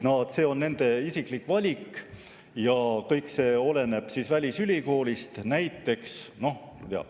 See on nende isiklik valik ja kõik see oleneb välisülikoolist.